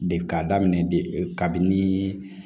De k'a daminɛ kabini